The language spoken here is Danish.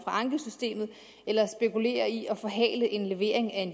ankesystemet eller spekulerer i at forhale leveringen af